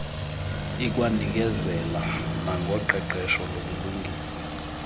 ikwanikezela nangoqeqesho lokulungisa